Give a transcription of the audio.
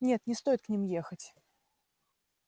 нет не стоит к ним ехать